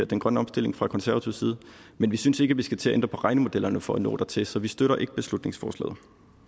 den grønne omstilling fra konservativ side men vi synes ikke at vi skal til at ændre på regnemodellerne for at nå dertil så vi støtter ikke beslutningsforslaget